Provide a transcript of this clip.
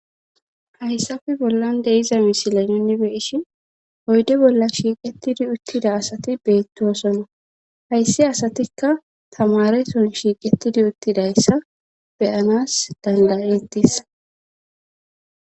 hayssafe bollan deiza misile nuni beishin oyde bolla shiiqettidi uttida asati beetto osona hayssi asatikka tamareton shiiqettidi uttidayssa beyanas dandayettis